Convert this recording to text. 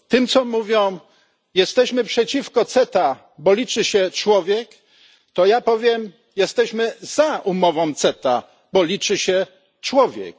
Tym, co mówią Jesteśmy przeciwko CETA, bo liczy się człowiek, ja powiem Jesteśmy za umową CETA, bo liczy się człowiek.